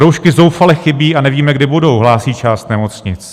Roušky zoufale chybí a nevíme, kdy budou, hlásí část nemocnic...